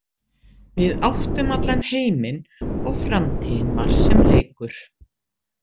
Við áttum allan heiminn og framtíðin var sem leikur.